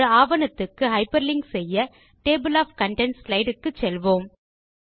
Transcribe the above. ஒரு ஆவணத்துக்கு ஹைப்பர்லிங்க் செய்ய டேபிள் ஒஃப் கன்டென்ட்ஸ் ஸ்லைடு க்கு செல்வோம்